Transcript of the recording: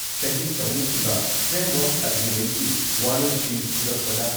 ꯁꯍꯤ ꯇꯧꯅꯈꯤꯕ ꯐ꯭ꯔꯦꯝꯋꯥꯔꯛ ꯑꯦꯒ꯭ꯔꯤꯃꯦꯟꯠꯀꯤ ꯋꯥꯔꯣꯏꯁꯤꯟ ꯄꯨꯔꯛꯄꯗ